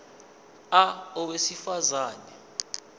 a owesifaz ane